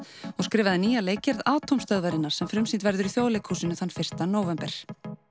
og skrifaði nýja leikgerð Atómstöðvarinnar sem frumsýnd verður í Þjóðleikhúsinu þann fyrsta nóvember